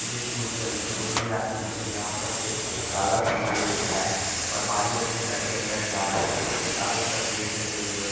इस ज़ू के अंदर कोई भी आदमी नहीं है यहाँ पर सिर्फ एक ताला सा भालू दिख रहा है और भालू आपने घर के अंदर जा रहा है जिसके चारो तरफ गेट लगे हुए है।